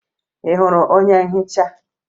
Ị hụrụ onye nhicha?